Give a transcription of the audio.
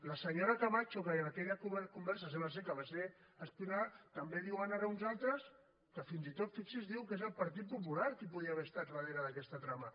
la senyora camacho que en aquella conversa sembla que va ser espiada també diuen ara uns altres que fins i tot fixi’s és el partit popular qui podia haver estat darrere d’aquesta trama